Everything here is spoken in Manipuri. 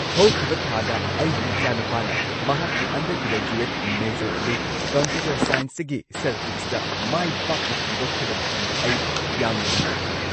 ꯍꯧꯈꯤꯕ ꯊꯥꯗ ꯑꯩꯒꯤ ꯏꯆꯥꯅꯨꯄꯥꯅ ꯃꯍꯥꯛꯀꯤ ꯑꯟꯗꯔ ꯒ꯭ꯔꯦꯖꯨꯑꯦꯠ ꯃꯦꯖꯔ ꯑꯗꯨ ꯀꯝꯄ꯭ꯌꯨꯇꯔ ꯁꯥꯏꯟꯁꯇꯒꯤ ꯁ꯭ꯇꯦꯇꯤꯁꯇꯤꯛꯁꯇ ꯃꯥꯏ ꯄꯥꯛꯅ ꯍꯣꯡꯗꯣꯛꯈꯤꯕ ꯃꯇꯝꯗ ꯑꯩ ꯌꯥꯝꯅ ꯅꯨꯡꯉꯥꯏꯈꯤ ꯫